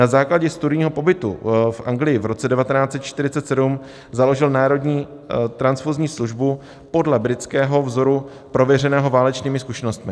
Na základě studijního pobytu v Anglii v roce 1947 založil Národní transfuzní službu podle britského vzoru prověřeného válečnými zkušenostmi.